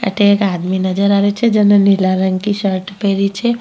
अठे एक आदमी नजर आवे छे जिने नीला रंग कि शर्ट पेहरी छे।